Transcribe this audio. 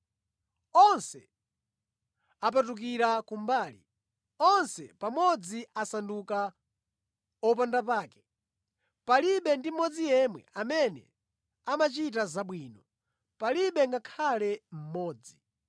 Onse apatukira kumbali, onse pamodzi asanduka opandapake. Palibe ndi mmodzi yemwe amene amachita zabwino, palibe ngakhale mmodzi.”